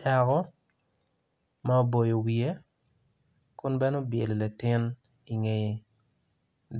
Dako ma oboyo wiye kun bene obyelo latin ingeye